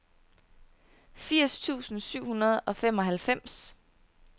firs tusind syv hundrede og femoghalvfems